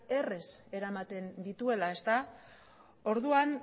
errez eramaten dituela orduan